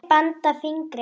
og banda fingri.